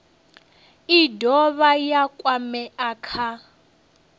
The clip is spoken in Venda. i dovha ya kwamea kha